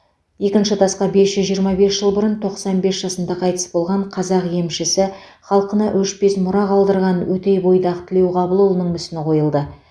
екінші тасқа бес жүз жиырма бес жыл бұрын тоқсан бес жасында қайтыс болған қазақ емшісі халқына өшпес мұра қалдырған өтейбойдақ тілеуқабылұлының мүсіні қойылды